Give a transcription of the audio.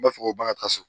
N b'a fɔ ko bakari so